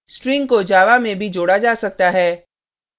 strings को java में भी जोड़ा जा सकता है